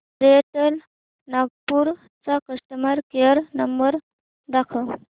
Airtel Nagpur चा customer care number दाखव